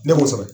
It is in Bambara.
Ne b'o sɔrɔ